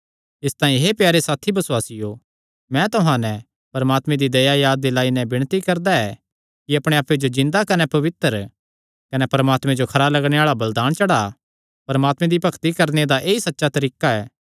इसतांई हे प्यारे साथी बसुआसियो मैं तुहां नैं परमात्मे दी दया याद दिलाई नैं विणती करदा ऐ कि अपणे आप्पे जो जिन्दा कने पवित्र कने परमात्मे जो खरा लगणे आल़ा बलिदान चढ़ा परमात्मे दी भक्ति करणे दा ऐई सच्चा तरीका ऐ